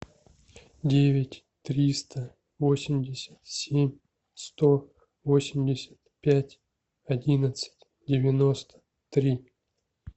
девять триста восемьдесят семь сто восемьдесят пять одиннадцать девяносто три